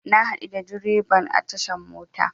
Na haɗu da dreban a tashar mota.